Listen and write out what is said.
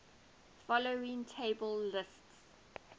following table lists